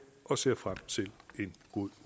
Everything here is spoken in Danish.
og ser frem til en god